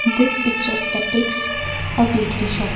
this picture epics a bakery shop.